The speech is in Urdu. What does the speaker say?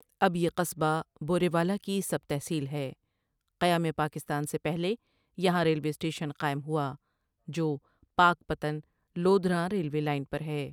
اب یہ قصبہ بوریوالہ کی سب تحصیل ہے قیامِ پاکستان سے پہلے یہاں ریلوے سٹیشن قائم ہوا، جو پاکپتن لودھراں ریلوے لائن پر ہے ۔